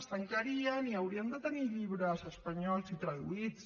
es tancarien i haurien de tenir llibres espanyols i traduïts